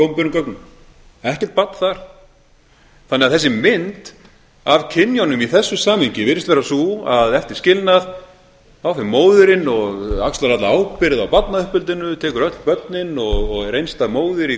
opinberum gögnum ekkert barn þar þannig að þessi mynd af kynjunum í þessu samhengi virðist vera sú þá fer móðirin og ala alla ábyrgð á barnauppeldinu tekur öll börnin og er einstæð móðir í